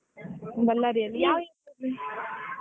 Bellary ಅಲ್ಲಿ ಯಾವ್ area ಅಲ್ಲಿ .